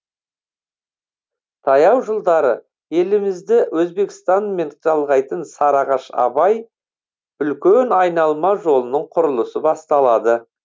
таяу жылдары елімізді өзбекстанмен жалғайтын сарыағаш абай үлкен айналма жолының құрылысы басталады